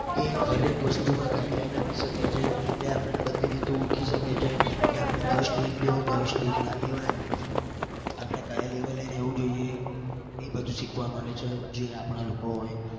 એ હર એક વસ્તુમાં guideline આપી શકે છે. એ આપણને બધી રીતે ઓળખી શકે છે કે આપણે કયો stage લેવો કયો stage ના લેવાય. આપણે કયા level માં રેવું જોઈએ એ બધું શીખવા મળે છે. જે આપણા લોકો હોય.